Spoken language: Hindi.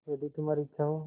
यदि तुम्हारी इच्छा हो